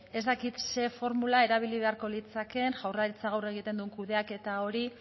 ez dakit zein formula erabili beharko litzatekeen jaurlaritzak gaur egiten duen kudeaketa hori